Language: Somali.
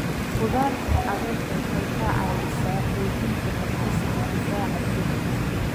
Khudradda caleenta waxay ka caawisaa xoojinta habdhiska difaaca jirka.